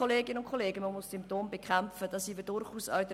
Ja, man muss Symptome bekämpfen, diese Meinung teilen wir durchaus auch.